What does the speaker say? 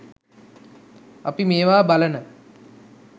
අපි මේවා බලන